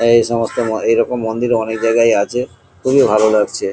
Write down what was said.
এই সমস্ত ম এইরক মন্দিরে অনেক জায়গায় আছে খুবই ভালো লাগছে।